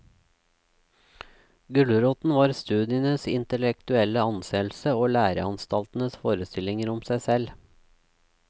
Gulroten var studienes intellektuelle anseelse og læreanstaltenes forestillinger om seg selv.